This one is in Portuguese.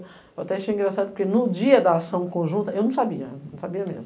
Eu até achei engraçado, porque no dia da ação conjunta, eu não sabia, não sabia mesmo.